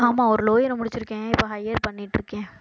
ஆமா ஒரு lower முடிச்சிருக்கேன் இப்ப higher பண்ணிட்டு இருக்கேன்